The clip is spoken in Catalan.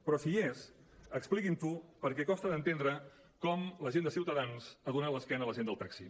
pliquin ho perquè costa d’entendre com la gent de ciutadans ha donat l’esquena a la gent del taxi